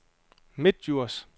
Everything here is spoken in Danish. Midtdjurs